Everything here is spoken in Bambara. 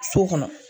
So kɔnɔ